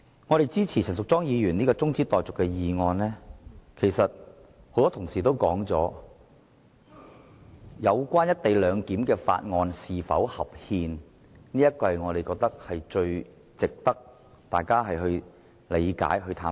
我們支持陳淑莊議員提出的中止待續議案，是因為正如很多同事也指出，有關"一地兩檢"的《廣深港高鐵條例草案》是否合憲，很值得大家了解和探討。